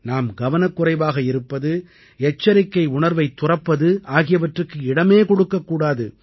நாம் கவனக்குறைவாக இருப்பது எச்சரிக்கை உணர்வைத் துறப்பது ஆகியவற்றுக்கு இடமே கொடுக்கக்கூடாது